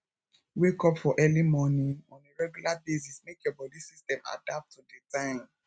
wake up for early morning on a regular basis make your body system adapt to di time